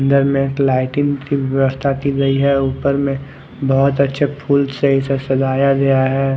अंदर में लाइटिंग की व्यवस्था की गई है ऊपर में बहुत अच्छे फूल से इसे सजाया गया है।